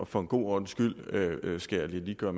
for god ordens skyld skal jeg lige gøre